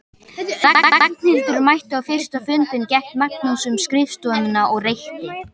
Þegar Ragnhildur mætti á fyrsta fundinn gekk Magnús um skrifstofuna og reykti.